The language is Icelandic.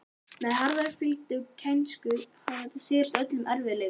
Með harðfylgi og kænsku hafði hann sigrast á öllum erfiðleikum.